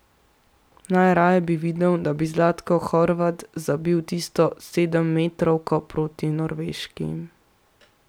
Najraje bi videl, da bi Zlatko Horvat zabil tisto sedemmetrovko proti Norveški.